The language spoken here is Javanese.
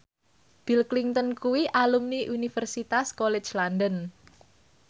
Bill Clinton kuwi alumni Universitas College London